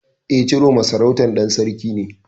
E, Ciroma sarautar ɗan Sarki ce.